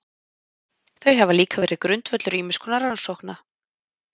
Þau hafa líka verið grundvöllur ýmiss konar rannsókna.